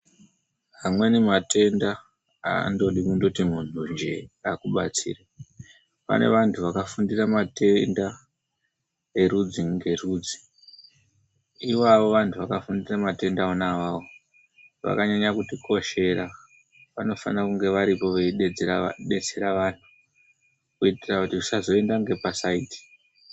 Amweni matenda andodi kundoti muntunje akubatsire. Pane vantu vakafundira matenda erudzi ngerudzi. Ivavo vantu vakafundira matenda ona awawo, vakanyanya kutikoshera, vanofanira kunge varipo, veidetsera vanhu, kuitira kuti zvisazoenda ngepasaidhi.